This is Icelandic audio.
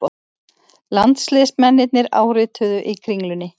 Landsliðsmennirnir árituðu í Kringlunni